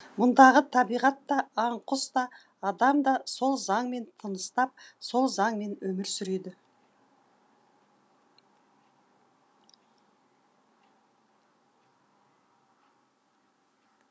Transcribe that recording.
мұндағы табиғат та аң құс та адам да сол заңмен тыныстап сол заңмен өмір сүреді